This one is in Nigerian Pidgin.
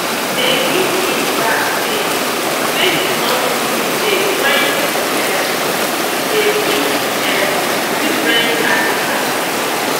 dey give feed bags names make you no do mistakes when you um dey feed um different animals.